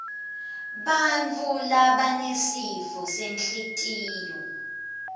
bantfu labanesifo senhlitiyo